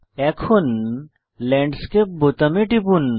এখন ল্যান্ডস্কেপ বোতামে টিপুন